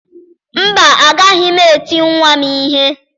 Mba, agaghị m eti nwa m ihe